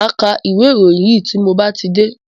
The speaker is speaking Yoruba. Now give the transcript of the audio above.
Máa ka ìwé ìròyìn yìí tí mo bá ti dé.